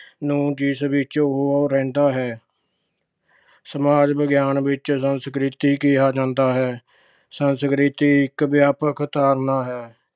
ਨੂੰ ਜਿਸ ਵਿੱਚ ਉਹ ਰਹਿੰਦਾ ਹੈ। ਸਮਾਜ ਵਿਗਿਆਨ ਵਿੱਚ ਸੰਸਕ੍ਰਿਤੀ ਕਿਹਾ ਜਾਂਦਾ ਹੈ। ਸੰਸਕ੍ਰਿਤੀ ਇੱਕ ਵਿਆਪਕ ਧਾਰਨਾ ਹੈ।